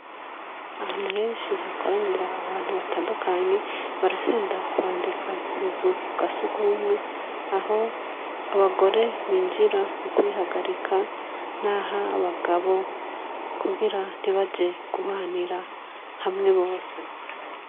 Ahantu henshi hakoranira abantu batandukanye barakunda kwandika ku buzu bwa surwumwe aho abagore binjira mu kwihagarika nah'abagabo kugira ntibaje guhwanira hamwe bose.